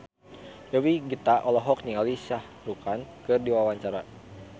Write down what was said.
Dewi Gita olohok ningali Shah Rukh Khan keur diwawancara